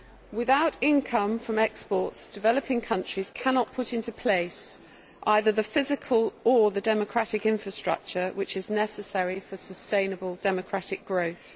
Without income from exports, developing countries cannot put into place either the physical or democratic infrastructure which is necessary for sustainable democratic growth.